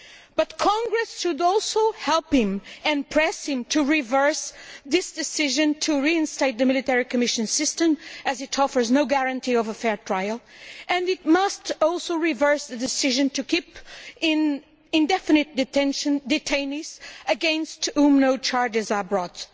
But Congress should also help him and press him to reverse this decision to reinstate the military commission system, as it offers no guarantee of a fair trial, and it must also reverse the decision to keep in indefinite detention detainees against whom no charges are brought.